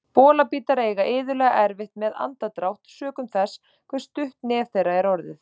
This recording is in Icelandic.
Bolabítar eiga iðulega erfitt með andardrátt sökum þess hve stutt nef þeirra er orðið.